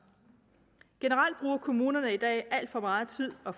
generelt bruger kommunerne i dag alt for meget tid og